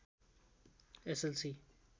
S L C